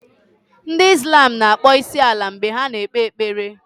Ndi islam na-akpọ isi n'ala mgbe ha na-ekpe ekpere